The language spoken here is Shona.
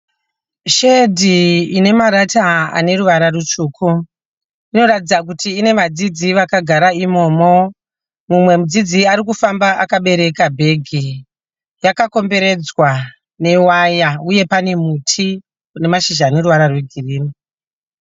Shedhi ine marata ane ruwara rutsvuku. Inoratidza kuti ine vadzidzi vakagara imomo mumwe mudzidzi arikufamba akabereka bhegi. Yakakomberedzwa newaya uye pane muti une mashizha ane ruwara rwe girini.